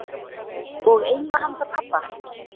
Og eina handa pabbanum.